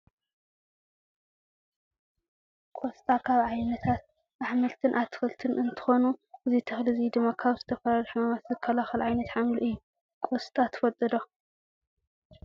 ቆስጣ ኣብ ዓይነታት ኣሕምልትን ኣትክልትን እንትኮኑ እዚ ተክሊ እዚ ድማ ካብ ዝተፈላለዩ ሕማማት ዝከላከል ዓይነት ሓምሊ እዩ። ቆስጣ ትፈትዎ ዶ ?